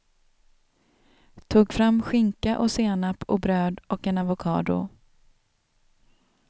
Tog fram skinka och senap och bröd och en avocado.